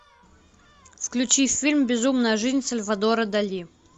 включи фильм безумная жизнь сальвадора дали